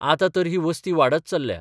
आतां तर ही वसती वाढत चल्ल्या.